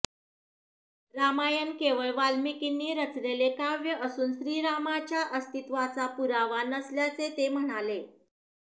रामायण केवळ वाल्मिकींनी रचलेले काव्य असून श्रीरामाच्या अस्तित्वाचा पुरावा नसल्याचे ते म्हणाले